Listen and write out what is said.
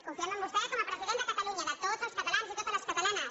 confiem en vostè com a president de catalunya de tots els catalans i totes les catalanes